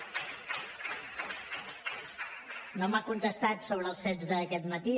no m’ha contestat sobre els fets d’aquest matí